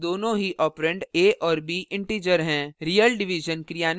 real division क्रियान्वित के लिए एक ऑपरेंड में float के लिए type cast होगा